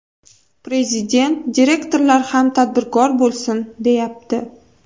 Prezident direktorlar ham tadbirkor bo‘lsin, deyapti.